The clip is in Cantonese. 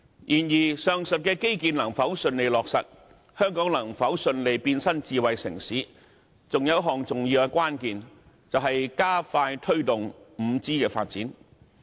然而，上述的基建能否順利落實，香港能否順利變身智慧城市，還有一項重要的關鍵，就是加快推動 5G 的發展。